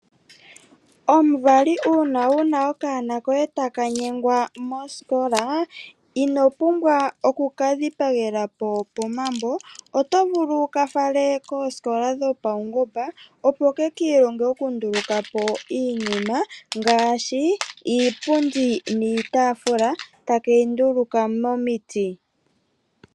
Omuvali uuna wuna okanona koye takanyengwa moositola inopumbwa oku ka dhipagelapo pomambo otovulu wukafale koosikola dhopawungomba opo keki ilonge oku ndulukapo iinima ngaashi iipundi niitafula takeyi ndulukapo momiti.